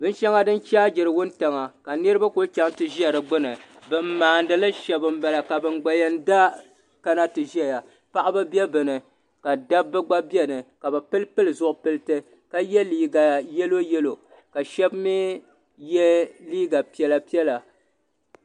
Binsheŋa di chaagiri wuntaŋa ka niriba kuli chaŋ ti za di gbini ban maanili sheba m bala ka ban yen da kana ti ʒɛya paɣaba be dini ka dabba gba be dinni bɛ pilipili zipiliti ka ye liiga yelo yelo ka sheba mee ye liiga piɛla piɛla.